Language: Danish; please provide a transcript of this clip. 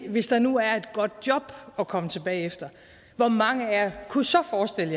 hvis der nu er et godt job at komme tilbage til hvor mange af jer kunne så forestille